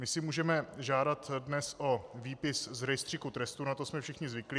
My si můžeme žádat dnes o výpis z rejstříku trestů, na to jsme všichni zvyklí.